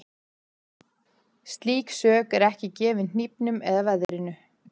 Slík sök er ekki gefin hnífnum eða veðrinu.